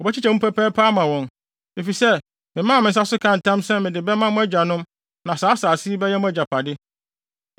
Wobɛkyekyɛ mu pɛpɛɛpɛ ama wɔn. Efisɛ memaa me nsa so kaa ntam sɛ mede bɛma mo agyanom na saa asase yi bɛyɛ mo agyapade.